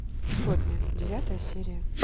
сотня девятая серия